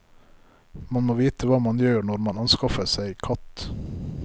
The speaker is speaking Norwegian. Man må vite hva man gjør når man anskaffer seg katt.